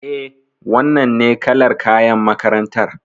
Eh, wannan ne kalar kayan makarantar